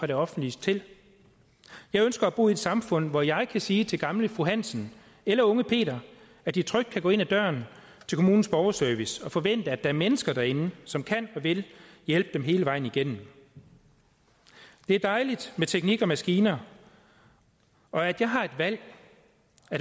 det offentlige jeg ønsker at bo i et samfund hvor jeg kan sige til gamle fru hansen eller unge peter at de trygt kan gå ind ad døren til kommunens borgerservice og forvente at der er mennesker derinde som kan og vil hjælpe dem hele vejen igennem det er dejligt med teknik og maskiner og at jeg har et valg